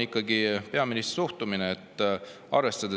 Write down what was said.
Aga peaministri suhtumine on ikkagi kummastav.